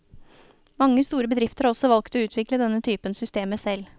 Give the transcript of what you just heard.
Mange store bedrifter har også valgt å utvikle denne typen systemer selv.